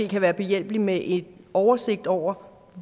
kan være behjælpelig med en oversigt over